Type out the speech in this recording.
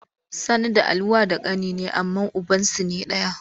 Sani da Ali wa da kani ne amma ubansu ne daya.